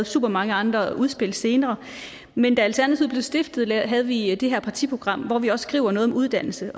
supermange andre udspil senere men da alternativet blev stiftet havde vi det her partiprogram hvori vi også skriver noget om uddannelse